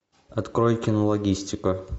открой кинологистика